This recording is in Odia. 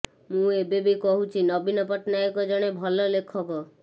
ମୁଁ ଏବେବି କହୁଛି ନବୀନ ପଟ୍ଟନାୟକ ଜଣେ ଭଲ ଲେଖକ